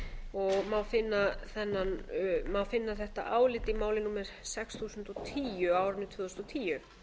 nægilega lagastoð má finna þetta álit í máli númer sex þúsund og tíu á árinu tvö þúsund og tíu